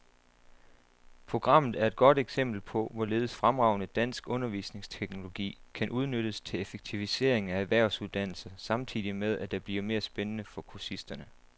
Programmet er et godt eksempel på, hvorledes fremragende dansk undervisningsteknologi kan udnyttes til effektivisering af erhvervsuddannelser samtidig med, at det bliver mere spændende for kursisterne.